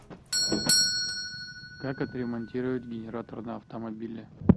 как отремонтировать генератор на автомобиле